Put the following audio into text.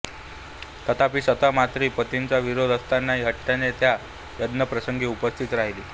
तथापि सती मात्र पतीचा विरोध असताही हट्टाने त्या यज्ञप्रसंगी उपस्थित राहिली